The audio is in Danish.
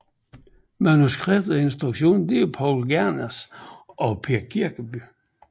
Manuskript og instruktion Paul Gernes og Per Kirkeby